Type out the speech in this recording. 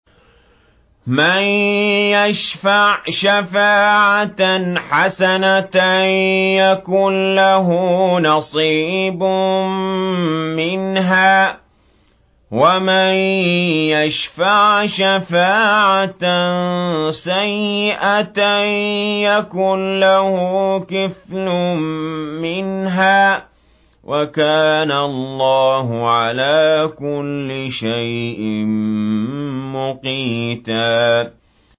مَّن يَشْفَعْ شَفَاعَةً حَسَنَةً يَكُن لَّهُ نَصِيبٌ مِّنْهَا ۖ وَمَن يَشْفَعْ شَفَاعَةً سَيِّئَةً يَكُن لَّهُ كِفْلٌ مِّنْهَا ۗ وَكَانَ اللَّهُ عَلَىٰ كُلِّ شَيْءٍ مُّقِيتًا